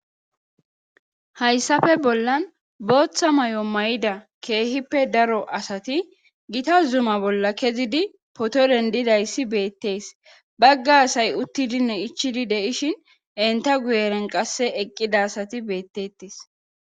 hayssafe bollan booththa may7o may7ida keehippe daro asati gita zuma bolla kezidi poto dendidayssi beettees bagga asay uttidinne ichidi deishin enta guyeren qasse eqqida asati beettettes